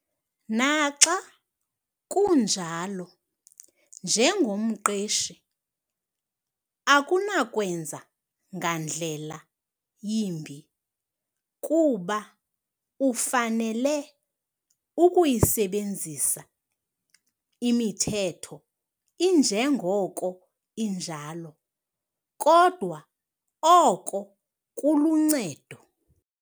Naxa kunjalo, njengomqeshi akunakwenza ngandlela yimbiI kuba ufanele ukuyisebenzisa imithetho injengoko injalo, kodwa oko kuluncedo.